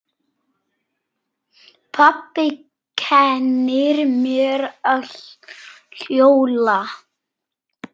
Pabbi kennir mér að hjóla.